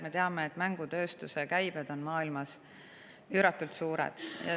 Me teame, et mängutööstuse käibed on maailmas üüratult suured.